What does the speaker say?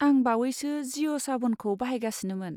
आं बावैसो जिअ' साभनखौ बाहायगासिनोमोन।